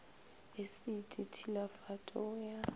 esiti t hilafat o ya